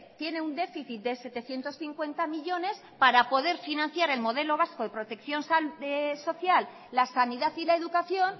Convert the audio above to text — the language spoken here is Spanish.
tiene un déficit de setecientos cincuenta millónes para poder financiar el modelo vasco de protección social la sanidad y la educación